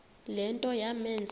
le nto yamenza